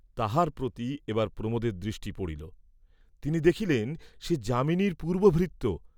তাহার প্রতি এবার প্রমোদের দৃষ্টি পড়িল, তিনি দেখিলেন সে যামিনীর পূর্ব্ব ভৃত্য।